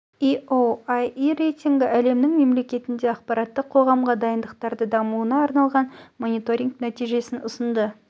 ео еаіе іе рейтингі әлемнің мемлекетінде ақпараттық қоғамға дайындықтары дамуына арналған мониторинг нәтижесін ұсынды